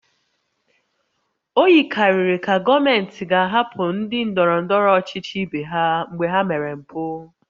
O yikarịrị ka gọọmenti ga-ahapụ ndị ndọrọ ndọrọ ọchịchị ibe ha mgbe ha mere mpụ